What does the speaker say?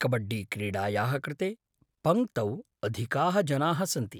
कबड्डीक्रीडायाः कृते पङ्क्तौ अधिकाः जनाः सन्ति।